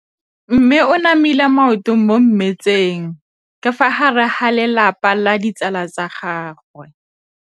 Mme o namile maoto mo mmetseng ka fa gare ga lelapa le ditsala tsa gagwe.